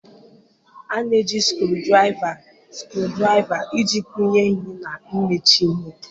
A na-eji screwdriver screwdriver iji kụnye ihe na imechi ihe.